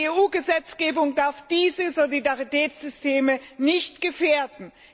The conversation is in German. Die EU Gesetzgebung darf diese Solidaritätssysteme nicht gefährden.